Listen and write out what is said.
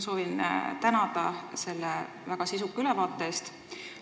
Kõigepealt soovin ma tänada selle väga sisuka ülevaate eest!